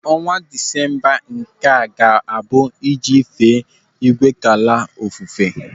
Ọnwa Disemba nke a ga-abụ iji fee Igwekala ofufe.